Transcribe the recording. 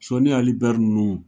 Sɔni Aji Ber nun